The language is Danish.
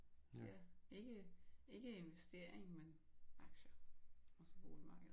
Ja ikke ikke investering men aktier og så boligmarkedet